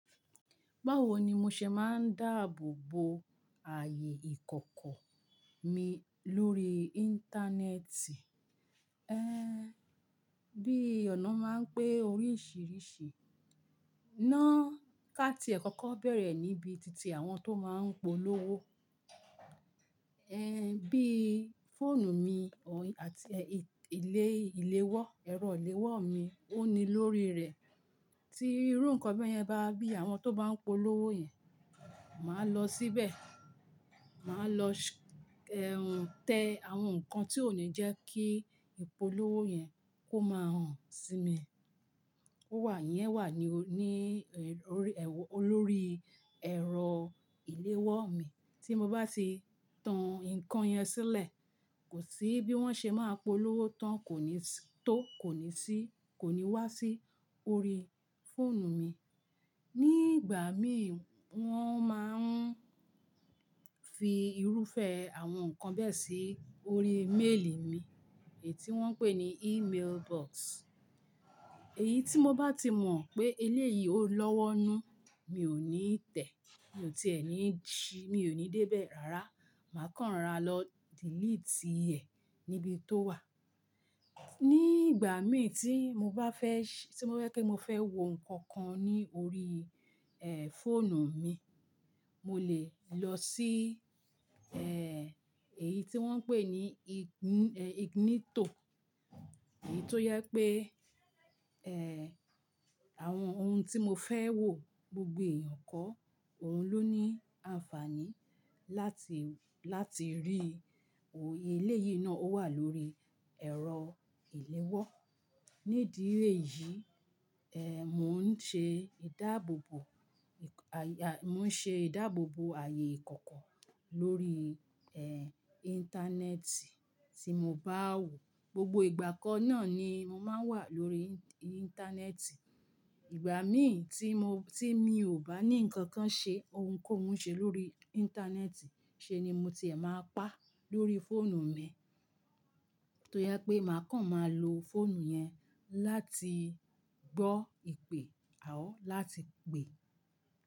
Báwo ni mo ṣe máa ń dáàbò bo ààyè ìkọ̀kọ̀ mi lórí internet? Bí ọ̀nà máa ń pé oríṣìíríṣìí. Náà ká tí e kọ́ kọ́ bẹ̀rẹ̀ níbi titi àwọn tó máa ń polówó. Bí fóònù mi àti ilé ìléwọ́, ẹ̀rọ ìléwọ́ mi ó ní lórí rẹ̀. Tí irú nǹkan bẹ́ẹ̀ yẹn bá bí àwọn tó bá ń polówó yẹn, màá lọ síbẹ̀. Màá lọ, tẹ àwọn nǹkan tí ó ní jẹ́ kí ìpolówó yẹn kó máa hàn sí mi. Ó wà yẹn wà ní, ní, lórí, olórí ẹ̀rọ ìléwọ́ mi. Tí mo bá ti tan nǹkan yẹn sílẹ̀, kò sí bí wọ́n ṣe máa polówó tán, kò ní tó, kò ní sí, kò ní wá sí orí fóònù mi. Ní ìgbà mi wọ́n máa ń fi irúfẹ́ àwọn nǹkan bẹ́ẹ̀ sí orí méèlì mi, èyí tí wọ́n ń pè ní email box. Èyí tí mo bá ti mọ̀ pé eléyìí ò lọ́wọ́nú, mi ò ní tẹ̀, mi ò tí è ní si, mi ò ní débẹ̀ rárá. Màá kàn ra lọ delete ẹ̀ níbi tó wà. Ní ìgbà mí tí mo bá fẹ́, tí mo fẹ́ kí mo fẹ́ wo nǹkan kan ní orí, fóònù mi, mo lè lọ sí, èyí tí wọ́n ń pè ní ignito. Èyí tó yẹ pé, ẹ́, àwọn ohun tí mo fẹ́ wò gbogbo ẹ̀yàn kọ́, òun ló ní àǹfààní láti, láti rí. Eléyìí náà ó wà lórí ẹ̀rọ ìléwọ́. Nídì èyí, mò ń ṣe ìdáàbò bo àyè, mò ń ṣe ìdáàbò bo ààyè ìkọ̀kọ̀ lórí Internet tí mo bá wò. Gbogbo ìgbà kan náà ni mo máa ń wà lórí internet. Ìgbà mí tí mo, tí mi ò bá ní nǹkan kan ṣe, ohun kó hun ṣe lórí internet, ṣe ni mo ti è máa pa lórí fóònù mi. Tó yẹ pé màá kàn máa lo fóònù yẹn láti gbọ́ ìpè, à ó láti pè.